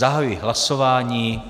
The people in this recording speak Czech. Zahajuji hlasování.